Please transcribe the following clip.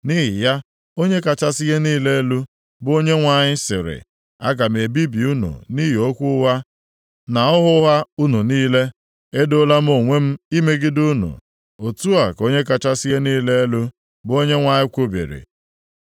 “ ‘Nʼihi ya, Onye kachasị ihe niile elu, bụ Onyenwe anyị sịrị, aga m ebibi unu nʼihi okwu ụgha na ọhụ ụgha unu niile. Edoola m onwe m imegide unu, otu a ka Onye kachasị ihe niile elu, bụ Onyenwe anyị kwubiri.